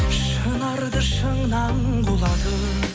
шынарды шыңнан құлатып